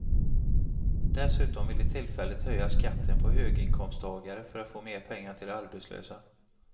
Dessutom vill de tillfälligt höja skatten på höginkomsttagare för att få mer pengar till de arbetslösa.